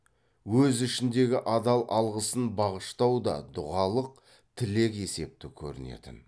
өз ішіндегі адал алғысын бағыштау да дұғалық тілек есепті көрінетін